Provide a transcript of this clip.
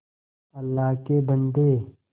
अल्लाह के बन्दे